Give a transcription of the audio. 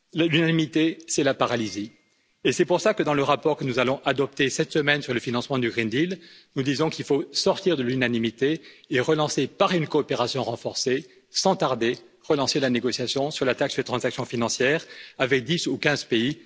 L'unanimité, c'est la paralysie. C'est pour cela que, dans le rapport que nous allons adopter cette semaine sur le financement du pacte vert, nous disons qu'il faut sortir de l'unanimité et relancer par une coopération renforcée, sans tarder, la négociation sur la taxe sur les transactions financières, avec 10 ou 15 pays.